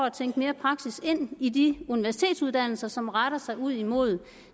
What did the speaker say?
at tænke mere praksis ind i de universitetsuddannelser som retter sig ud imod